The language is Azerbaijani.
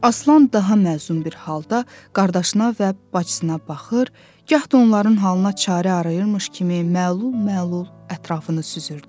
Aslan daha məzlum bir halda qardaşına və bacısına baxır, gah da onların halına çarə arayırmış kimi məlul-məlul ətrafını süzürdü.